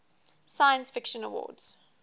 science fiction awards